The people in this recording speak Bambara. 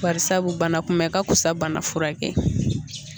Barisa bana kunbɛ ka fusa ni bana furakɛ ye.